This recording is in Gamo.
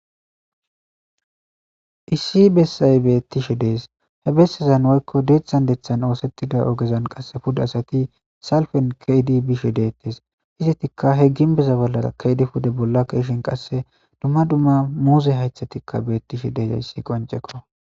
issi bessay beettishe dees he bessezan woykko deeththan deththan oosettida ogezan qasse puda asati salfen keedi bishe deettes izatikka he ginbeza bolla keedi pude bollakaishen qasse dumma dumma muuze haythatikka bettishe deezayssi qoncekko